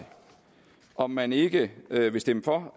om man ikke vil stemme for